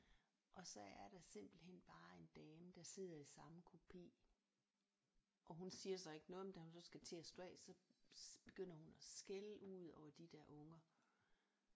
Og så er der simpelthen bare en dame der sidder i samme kupe og hun siger så ikke noget men da hun så skal til at stå af så begynder hun at skælde ud og de der unger